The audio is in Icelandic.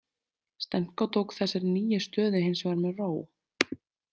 Stenko tók þessari nýju stöðu hins vegar með ró.